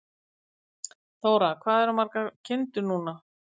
Þóra: Hvað ertu með margar kindur núna?